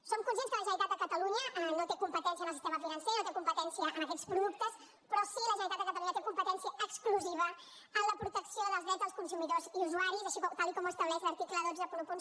som conscients que la generalitat de catalunya no té competència en el sistema financer no té competència en aquests productes però sí que la generalitat de catalunya té competència exclusiva en la protecció dels drets dels consumidors i usuaris tal com ho estableix l’article cent i vint un